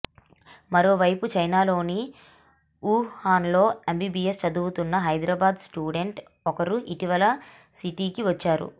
మరోవైపు చైనాలోని వు హాన్లో ఎంబీబీఎస్ చదువుతున్న హైదరాబాద్ స్టూడెంట్ ఒకరు ఇటీవల సిటీకి వచ్చారు